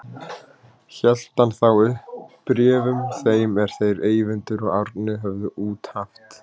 Hélt hann þá upp bréfum þeim er þeir Eyvindur og Árni höfðu út haft.